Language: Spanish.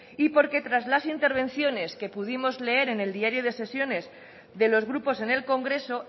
y porque tras la intervenciones que pudimos leer en el diario de sesiones de los grupos en el congreso